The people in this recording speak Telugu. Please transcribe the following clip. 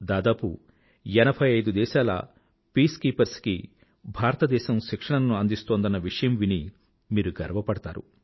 దాదాపు ఎనభై ఐదు దేశాల పీసుకీపర్స్ కి భారతదేశం శిక్షణను అందిస్తోందన్న విషయం విని మీరు గర్వ పడతారు